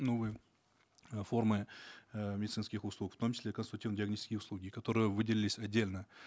новые э формы э медицинских услуг в том числе консультативно диагностические услуги которые выделились отдельно